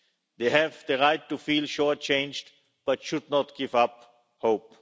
They have the right to feel short changed but should not give up hope.